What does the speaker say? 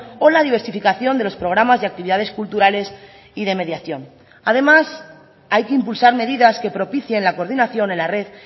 o la diversificación de los programas de actividades culturales y de mediación además hay que impulsar medidas que propicien la coordinación en la red